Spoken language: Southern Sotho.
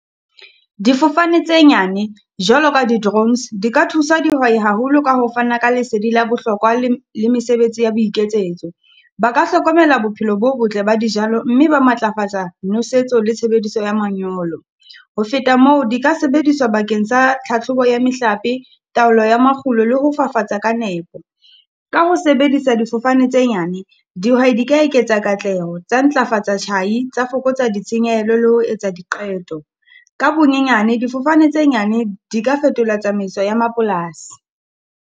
Difofane tse nyane, jwalo ka di-drones di ka thusa dihwai haholo ka ho fana ka lesedi la bohlokwa le le mesebetsi ya boiketsetso. Ba ka hlokomela bophelo bo botle ba dijalo mme ba matlafatsa nosetso le tshebediso ya manyolo. Ho feta moo, di ka sebediswa bakeng sa tlhatlhobo ya mehlape, taolo ya makgulo le ho fafatsa ka nepo. Ka ho sebedisa difofane tse nyane. Dihwai di ka eketsa katleho, tsa ntlafatsa tjhai, tsa fokotsa ditshenyehelo le ho etsa diqeto. Ka bonyenyane, difofane tse nyane di ka fetola tsamaiso ya mapolasi.